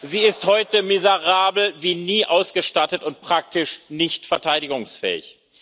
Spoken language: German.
Sie ist heute miserabel wie nie ausgestattet und praktisch nicht verteidigungsfähig.